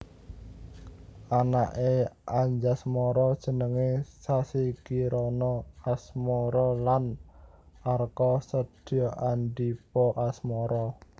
Anaké Anjasmara jenengé Sassi Kirana Asmara lan Arka Setyaandipa Asmara